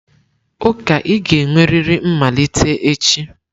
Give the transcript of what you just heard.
Ụka ị ga-enwerịrị mmalite echi!